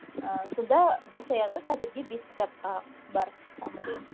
ыыы сонда бас аяғы қазірге бес кітапқа бар саммари